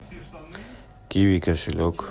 киви кошелек